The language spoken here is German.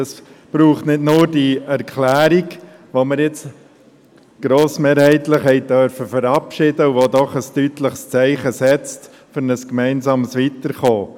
es braucht nicht nur diese Erklärung, die wir grossmehrheitlich verabschieden durften und die doch ein deutliches Zeichen setzt für ein gemeinsames Weiterkommen.